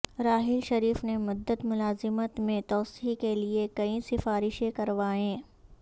راحیل شریف نے مدت ملازمت میں توسیع کیلئے کئی سفارشیں کروائیں